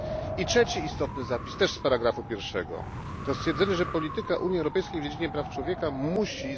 I trzeci istotny zapis, też z ustępu pierwszego, to stwierdzenie, że polityka Unii Europejskiej w dziedzinie praw człowieka musi